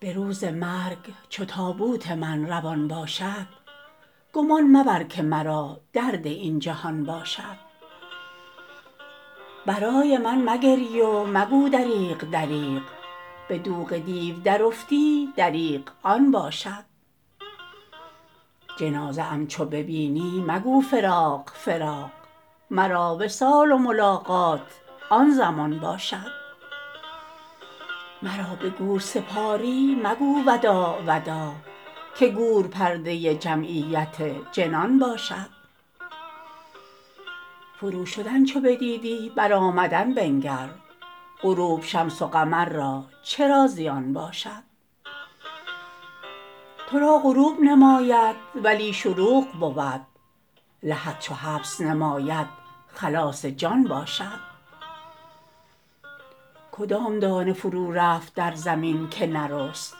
به روز مرگ چو تابوت من روان باشد گمان مبر که مرا درد این جهان باشد برای من مگری و مگو دریغ دریغ به دوغ دیو درافتی دریغ آن باشد جنازه ام چو ببینی مگو فراق فراق مرا وصال و ملاقات آن زمان باشد مرا به گور سپاری مگو وداع وداع که گور پرده جمعیت جنان باشد فروشدن چو بدیدی برآمدن بنگر غروب شمس و قمر را چرا زیان باشد تو را غروب نماید ولی شروق بود لحد چو حبس نماید خلاص جان باشد کدام دانه فرورفت در زمین که نرست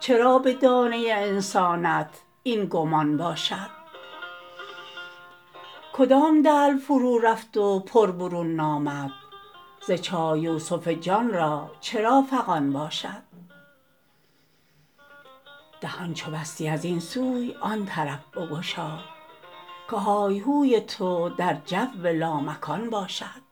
چرا به دانه انسانت این گمان باشد کدام دلو فرورفت و پر برون نامد ز چاه یوسف جان را چرا فغان باشد دهان چو بستی از این سوی آن طرف بگشا که های هوی تو در جو لامکان باشد